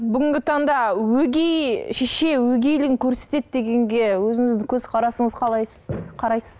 бүгінгі таңда өгей шеше өгейлігін көрсетеді дегенге өзіңіздің көзқарасыңыз қалайсыз қарайсыз